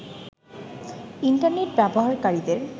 internet ব্যবহারকারীদের